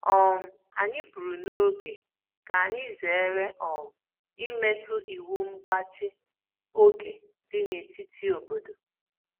um Anyị pụrụ n'oge ka anyị zere um imetụ iwu mgbachi oge dị n’etiti obodo